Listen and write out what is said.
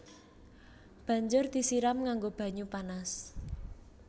Banjur disiram nganggo banyu panas